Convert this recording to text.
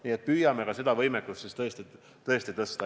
Nii et püüame siis ka seda võimekust parandada.